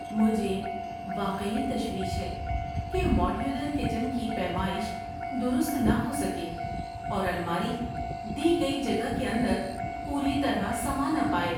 مجھے واقعی تشویش ہے کہ ماڈیولر کچن کی پیمائش درست نہ ہو سکے، اور الماری دی گئی جگہ کے اندر پوری طرح سما نہ پائے۔